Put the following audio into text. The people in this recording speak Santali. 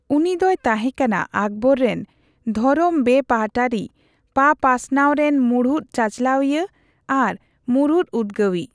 ᱩᱱᱤᱫᱚᱭ ᱛᱟᱦᱮᱸᱠᱟᱱᱟ ᱟᱠᱵᱚᱨ ᱨᱮᱱ ᱫᱷᱚᱨᱚᱢ ᱵᱮᱯᱟᱦᱴᱟᱨᱤ ᱯᱟᱯᱟᱥᱱᱟᱣ ᱨᱮᱱ ᱢᱩᱬᱩᱫ ᱪᱟᱪᱞᱟᱣᱤᱭᱟᱹ ᱟᱨ ᱢᱩᱬᱩᱫ ᱩᱫᱽᱜᱟᱹᱣᱤᱡ ᱾